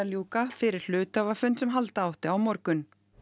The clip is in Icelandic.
ljúka fyrir hluthafafund sem halda átti á morgun